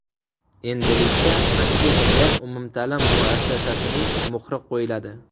Endilikda anketaga umumta’lim muassasasining muhri qo‘yiladi.